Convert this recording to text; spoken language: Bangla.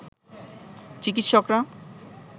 চিকিৎসকরা